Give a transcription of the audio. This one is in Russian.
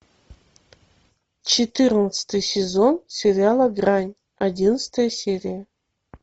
четырнадцатый сезон сериала грань одиннадцатая серия